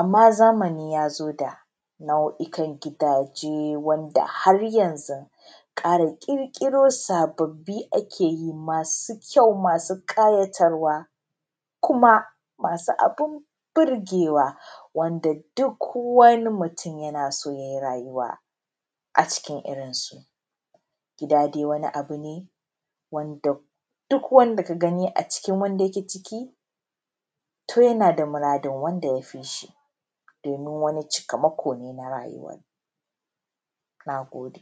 Amma zamani ya zo da nau’ikan gidaje wanda har yanzu kara-kara ƙirƙiro sababi ake yi: masu kyau, masu kayatarwa, kuma masu abin burgewa. Duk wani mutum yana so ya yi rayuwa a cikin irin su. Gida dai wani abu ne wanda duk wanda ka gani a cikin wanda yake ciki to yana da muradin wanda ya fishi. Don min wani cikama ko ne na rayuwa. Na gode.